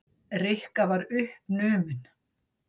Rikka var uppnumin.